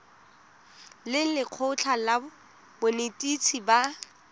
le lekgotlha la banetetshi ba